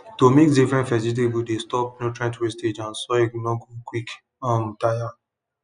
to mix different vegetables dey stop nutrients wastage and soil nor go quick um tire